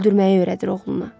Öldürməyi öyrədir oğluna.